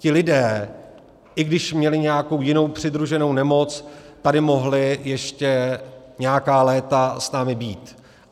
Ti lidé, i když měli nějakou jinou přidruženou nemoc, tady mohli ještě nějaká léta s námi být.